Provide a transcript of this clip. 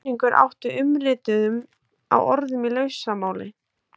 Með kenningu er átt við umritun á orðum í lausamáli.